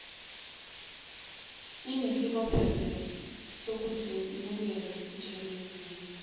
inesibophezelo sokuzemukela njengezinye